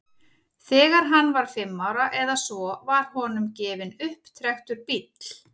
þegar hann var fimm ára eða svo var honum gefinn upptrekktur bíll